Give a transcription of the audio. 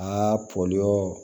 Aa pɔ